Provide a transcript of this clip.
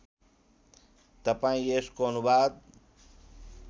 तपाईँ यसको अनुवाद